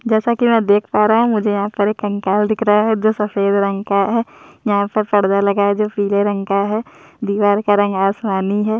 जैसा की मै देख पा रहा हुमुझे यहाँ पर एक कंकाल दिख रहा है जो सफेद रंग का है यह पर पर्दा लगा है जो पीले रंग का है दीवाल का रंग आसमानी है।